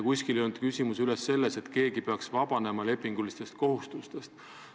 Kuskil ei olnud küsimust, et keegi peaks vabanema lepingulistest kohustustest.